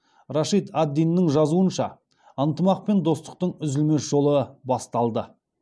рашид ад диннің жазуынша ынтымақ пен достықтың үзілмес жолы басталды